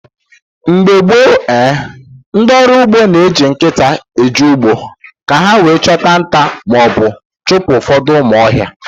Mgbe gboo ehn, ndị ọrụ ugbo na eji nkịta eje ugbo, ka ha wee chụta nta maọbụ chụpụ ụfọdụ ụmụ ọhịa